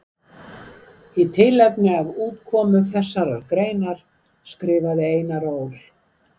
Í tilefni af útkomu þeirrar greinar skrifaði Einar Ól.